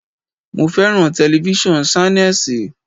Mo fẹ́ràn telifísàn Ṣánẹ́sì.